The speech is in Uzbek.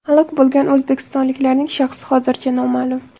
Halok bo‘lgan o‘zbekistonliklarning shaxsi hozircha noma’lum.